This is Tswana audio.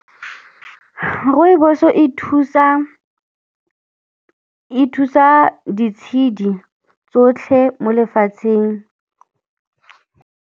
Rooibos-o e thusa ditshedi tsotlhe mo lefatsheng.